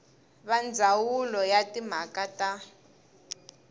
wa ndzawulo ya timhaka ta